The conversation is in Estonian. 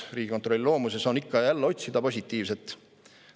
Riigikontrolli loomuses on ikka ja jälle otsida ka positiivset.